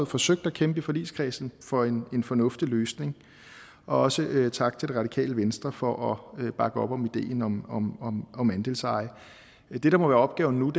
forsøgt at kæmpe i forligskredsen for en en fornuftig løsning og også tak til det radikale venstre for at bakke op om ideen om andelseje det der må være opgaven nu